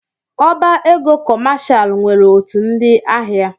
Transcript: Ọbá égo Kọshal nwere otu ndị ahịa.